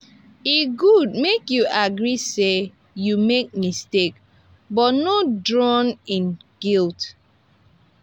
e gud mek yu agree say yu mek mistake but no drawn in guilt